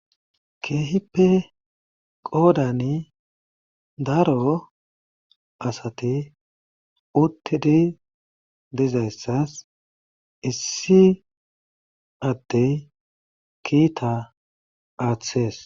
Keehippe qoodani daro asati uttidi dizayssas issi addey kiita aathees.